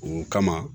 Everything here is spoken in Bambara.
O kama